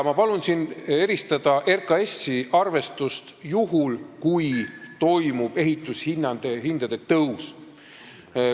Ma palun siin eristada RKAS-i arvestust juhul, kui toimub ehitushindade tõus.